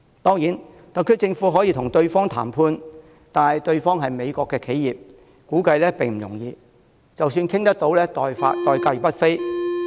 當然，特區政府可與對方談判，但對方是美國企業，估計並不容易；即使談妥，代價亦不菲。